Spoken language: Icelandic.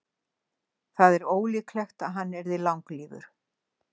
Það er ólíklegt að hann yrði langlífur.